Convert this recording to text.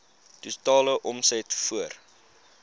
totale omset voor